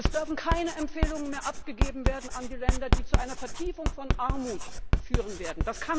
Es werden keine Empfehlungen mehr abgegeben werden an die Länder, die zu einer Vertiefung von Armut führen werden.